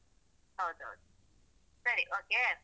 ಹೌದೌದು ಸರಿ okay.